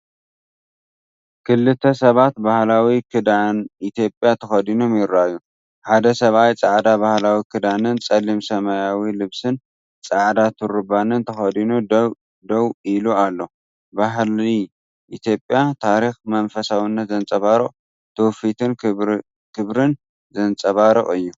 ክልተ ሰባት ባህላዊ ክዳን ኢትዮጵያ ተኸዲኖም ይረኣዩ። ሓደ ሰብኣይ ጻዕዳ ባህላዊ ክዳንን ጸሊም ሰማያዊ ልብስን ጻዕዳ ቱርባንን ተኸዲኑ ደው ኢሉ ኣሎ። ባህሊ ኢትዮጵያ፣ ታሪኽ፣ መንፈሳውነት ዘንጸባርቕ፣ ትውፊትን ክብርን ዘንጸባርቕ እዩ።